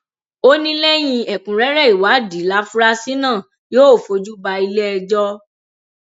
ó ní lẹyìn ẹkúnrẹrẹ ìwádìí láfúrásì náà yóò fojú bá iléẹjọ